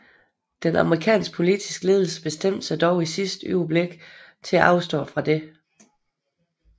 Den amerikanske politiske ledelse bestemte sig dog i sidste øjeblik til at afstå fra dette